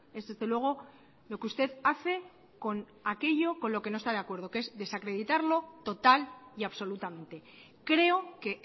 es desde luego lo que usted hace con aquello con lo que no está de acuerdo que es desacreditarlo total y absolutamente creo que